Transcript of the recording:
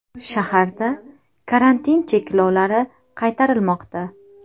Shaharda karantin cheklovlari qaytarilmoqda.